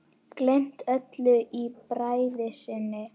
Gleymt öllu í bræði sinni.